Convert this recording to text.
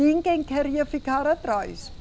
Ninguém queria ficar atrás.